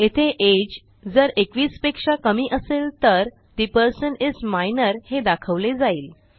येथे अगे जर 21 पेक्षा कमी असेल तर ठे पर्सन इस मायनर हे दाखवले जाईल